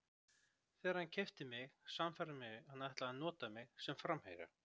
Þegar hann keypti mig sannfærði hann mig að hann ætlaði að nota mig sem framherja.